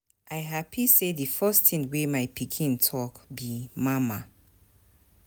I happy say the first thing wey my pikin talk be mama.